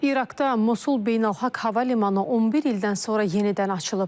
İraqda Mosul beynəlxalq hava limanı 11 ildən sonra yenidən açılıb.